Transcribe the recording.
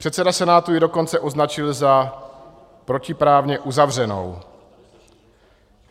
Předseda senátu ji dokonce označil za protiprávně uzavřenou.